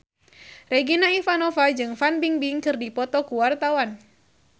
Regina Ivanova jeung Fan Bingbing keur dipoto ku wartawan